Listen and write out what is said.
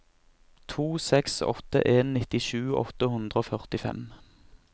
to seks åtte en nittisju åtte hundre og førtifem